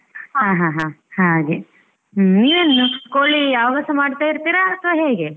ಹಾ ಹಾ ಹಾಗೆ ಹ್ಮ್‌ ನೀವ್ ಏನು ಕೋಳಿ ಯಾವಾಗಾಸ ಮಾಡ್ತಾ ಇರ್ತೀರ ಅಥವಾ ಹೇಗೆ?